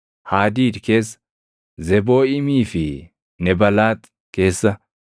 Haadiid keessa, Zebooʼiimii fi Nebalaax keessa,